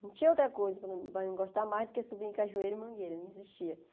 Não tinha outra coisa para mim gostar mais do que subir em cajueiro e mangueira, não existia.